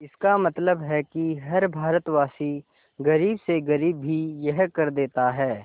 इसका मतलब है कि हर भारतवासी गरीब से गरीब भी यह कर देता है